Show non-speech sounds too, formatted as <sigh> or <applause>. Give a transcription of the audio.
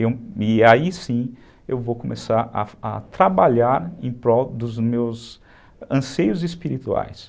<unintelligible> E aí sim eu vou começar a trabalhar em prol dos meus anseios espirituais.